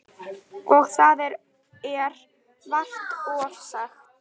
Og það er vart ofsagt.